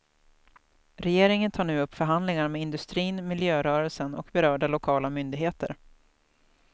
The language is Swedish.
Regeringen tar nu upp förhandlingar med industrin, miljörörelsen och berörda lokala myndigheter.